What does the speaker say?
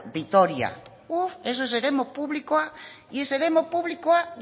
vitoria uff eso es eremu publikoa y es eremu publikoa